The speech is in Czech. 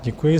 Děkuji.